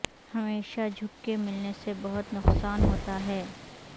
ہمیشہ جھک کے ملنے سے بہت نقصان ہوتا ہے